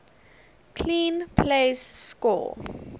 clean plays score